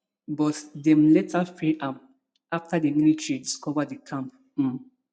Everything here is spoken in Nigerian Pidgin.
but dem later free am afta di military discover di camp um